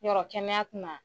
Yɔrɔ kɛnɛya tɛna